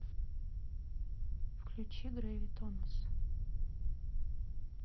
включи гравитонас